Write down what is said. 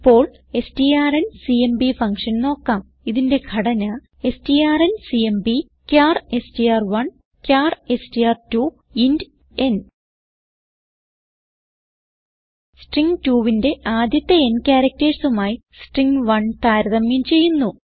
ഇപ്പോൾ strncmp function നോക്കാം ഇതിന്റെ ഘടന strncmpചാർ എസ്ടിആർ1 ചാർ എസ്ടിആർ2 ഇന്റ് ന് സ്ട്രിംഗ് 2ന്റെ ആദ്യത്തെ n charactersമായി സ്ട്രിംഗ് 1 താരതമ്യം ചെയ്യുന്നു